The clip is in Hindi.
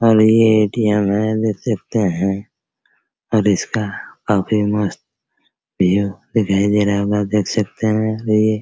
और ये ए.टी.एम. है देख सकते हैं और इसका अभी मस्त उ दिखाई दे रहा होगा देख सकते है ये |